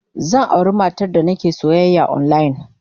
Zan auri matar da nake soyayya online.